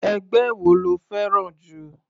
Ẹgbẹ́ wo lo fẹ́ràn jù?